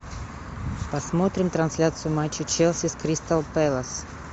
посмотрим трансляцию матча челси с кристал пэлас